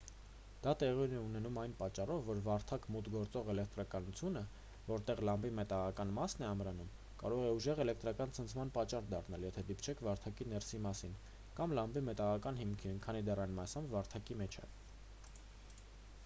դա տեղի է ունենում այն պատճառով որ վարդակ մուտք գործող էլեկտրականությունը որտեղ լամպի մետաղական մասն է ամրանում կարող է ուժեղ էլեկտրական ցնցման պատճառ դառնալ եթե դիպչեք վարդակի ներսի մասին կամ լամպի մետաղական հիմքին քանի դեռ այն մասամբ վարդակի մեջ է